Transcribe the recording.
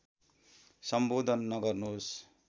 सम्बोधन नगर्नुहोस्